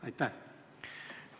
Aitäh!